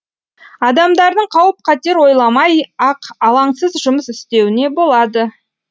адамдардың қауіп қатер ойламай ақ алаңсыз жұмыс істеуіне болады